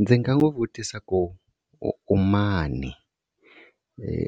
Ndzi nga n'wi vutisa ku u mani,